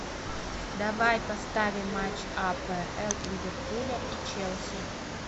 давай поставим матч апл ливерпуля и челси